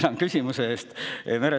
Tänan küsimuse eest!